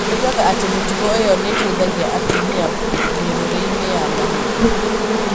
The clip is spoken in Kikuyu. Oigaga atĩ mĩtugo ĩyo nĩ ĩteithagia atumia mĩrũrĩinĩ ya mahĩndĩ.